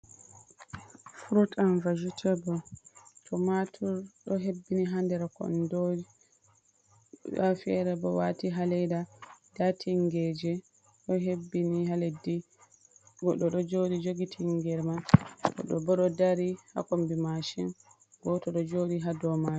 Furut an vajetebul, tomatur ɗo hebbini ha nder kondo. Ndafere bo wati ha ndar leda, nda tingeje ɗo hebbini ha leddi, goɗo ɗo joɗi jogi tingeriman goɗo bo ɗo dari ha kombi mashin, goto ɗo joɗi ha dow mari.